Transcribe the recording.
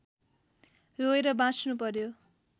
रोएर बाँच्नु पर्‍यो